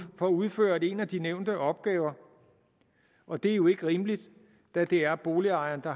får udført en af de nævnte opgaver og det er jo ikke rimeligt da det er boligejeren der